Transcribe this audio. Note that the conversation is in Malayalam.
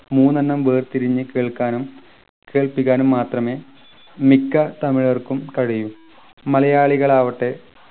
മൂന്നെണ്ണം വേർതിരിഞ്ഞു കേൾക്കാനും കേൾപ്പിക്കാനും മാത്രമേ മിക്ക തമിഴർക്കും കഴിയു മലയാളികൾ ആവട്ടെ